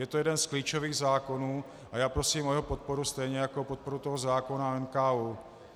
Je to jeden z klíčových zákonů a já prosím o jeho podporu stejně jako podporu toho zákona o NKÚ.